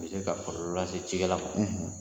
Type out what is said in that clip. u bɛ se ka kɔlɔlɔ lase cikɛla man.